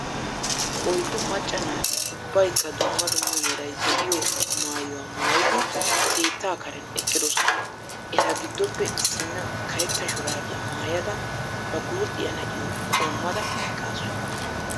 Oyddu macca naati ubbaaykka dumma dumma meray de'iyoo maayuwaaa maayidi keettaa Karen eqqidosona. Eta giddoppe issina karetta shuraabiyaa maayada ba guuxxiyaa na'iyoo qoommada eqqaasu